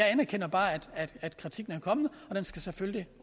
anerkender bare at kritikken er kommet og den skal selvfølgelig